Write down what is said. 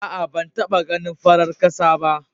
Aa, ban taba ganin farar kasa ba.